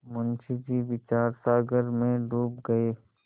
मुंशी जी विचारसागर में डूब गये